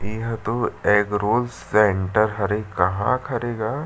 इह तो egg roll centre हरे कहा के हरे गा --